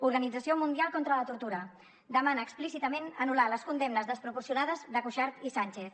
organització mundial contra la tortura demana explícitament anul·lar les condemnes desproporcionades de cuixart i sànchez